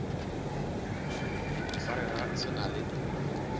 sa rena se na le